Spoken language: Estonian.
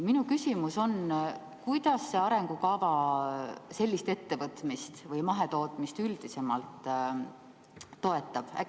Minu küsimus on: kuidas see arengukava sellist ettevõtmist või mahetootmist üldisemalt toetab?